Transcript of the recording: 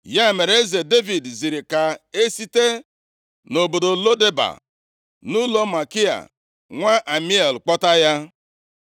Ya mere eze Devid ziri ka e site nʼobodo Lo Deba, nʼụlọ Makia nwa Amiel kpọta ya.